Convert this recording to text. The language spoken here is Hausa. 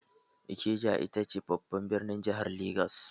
Ikeja ita ce babban birnin jahar Legas